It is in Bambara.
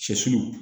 Sɛsulu